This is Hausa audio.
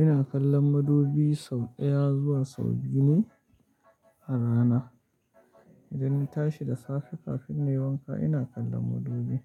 Ina kallon madubi sau ɗaya zuwa sau biyu ne a rana. Idan na tashi da safe kafin na yi wanka ina kallon madubi.